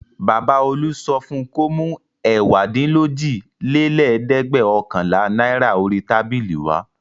Baba Olú sọ fún un kó mú ẹ̀wádínlójìlélẹ́ẹ̀dẹ́gbẹ̀ọ̀kànlá náírà orí tábìlì wá.